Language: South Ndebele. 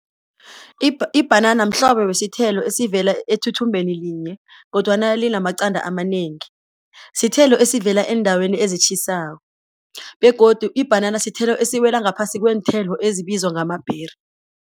Ibhanana mhlobo wesithelo esivela ethuthumbeni linye kodwana linamaqanda amanengi, sithelo esivela eendaweni ezitjhisako begodu ibhanana sithelo esiwela ngaphasi kweenthelo ezibizwa ngama-berry.